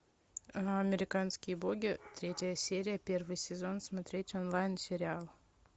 американские боги третья серия первый сезон смотреть онлайн сериал